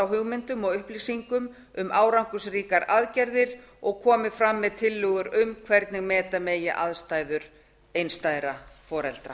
á hugmyndum og upplýsingum um árangursríkar aðgerðir og komi fram með tillögur um hvernig bæta megi aðstæður einstæðra foreldra